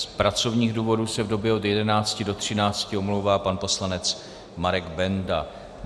Z pracovních důvodů se v době od 11.00 do 13.00 omlouvá pan poslanec Marek Benda.